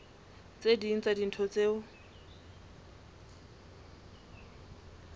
tse ding tsa dintho tseo